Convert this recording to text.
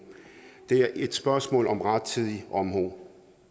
det er et spørgsmål om rettidig omhu